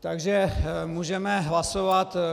Takže můžeme hlasovat.